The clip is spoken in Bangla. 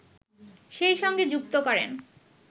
সেই সঙ্গে যুক্ত করেন